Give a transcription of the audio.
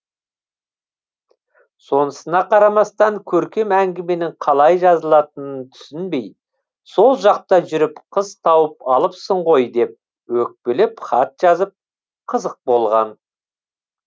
сонысына қарамастан көркем әңгіменің қалай жазылатынын түсінбей сол жақта жүріп қыз тауып алыпсың ғой деп өкпелеп хат жазып қызық болған